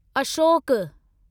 Ashok